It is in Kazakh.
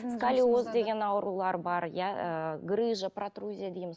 сколиоз деген аурулар бар иә ы грыжа протрузия дейміз